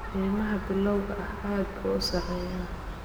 Qiimaha bilowga ah aad buu u sarreeyaa.